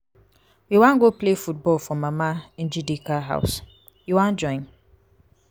we wan go play football for mama njideka house. you wan join?